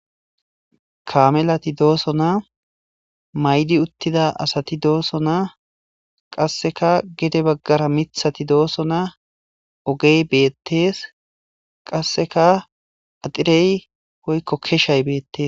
kaamelati doosonaa maydi uttida asati doosonaa qasseka gede baggara mithati dooso naa ogey beettees qasseka axirey hoykko keshay beettes